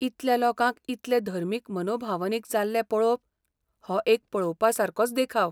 इतल्या लोकांक इतले धर्मीक मनोभावनीक जाल्ले पळोवप हो एक पळोवपासारकोच देखाव.